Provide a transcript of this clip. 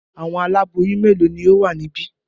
Àwọn aláboyún mélòó ni ó wà níbí?